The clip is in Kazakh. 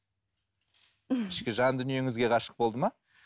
ішкі жан дүниеңізге ғашық болды ма